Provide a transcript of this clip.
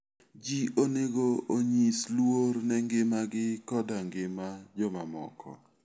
Ji onego onyis luor ne ngimagi koda ngima jomamoko.